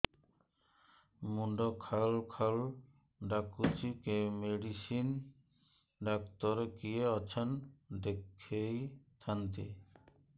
ମୁଣ୍ଡ ଖାଉଲ୍ ଖାଉଲ୍ ଡାକୁଚି ମେଡିସିନ ଡାକ୍ତର କିଏ ଅଛନ୍ ଦେଖେଇ ଥାନ୍ତି